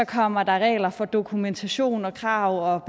kommer regler for dokumentation krav